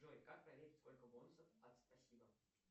джой как проверить сколько бонусов от спасибо